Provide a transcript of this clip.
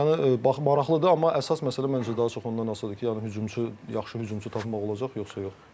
Yəni maraqlıdır, amma əsas məsələ məncə daha çox ondan asılıdır ki, yəni hücumçu, yaxşı hücumçu tapmaq olacaq yoxsa yox.